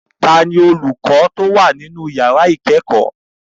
Ta ni olùkọ tó wà nínú yàrá ìkẹ́kọ̀ọ́?